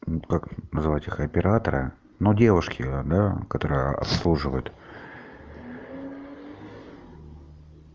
ну вот как назвать их оператора ну девушки да которые обслуживают